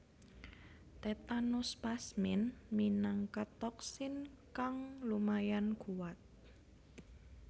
Tetanospasmin minangka toksin kang lumayan kuat